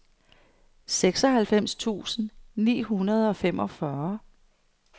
seksoghalvfems tusind ni hundrede og femogfyrre